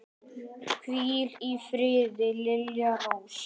Hvíl í friði, Lilja Rós.